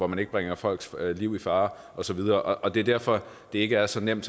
man ikke bringer folks liv i fare og så videre og det er derfor at det ikke er så nemt